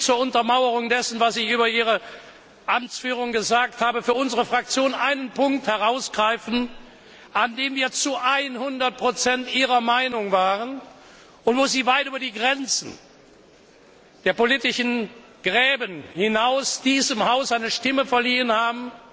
Ich will zur Untermauerung dessen, was ich über Ihre Amtsführung gesagt habe, für unsere Fraktion einen Punkt herausgreifen, an dem wir zu hundert Prozent Ihrer Meinung waren und wo Sie weit über die Grenzen der politischen Gräben hinaus diesem Haus eine Stimme verliehen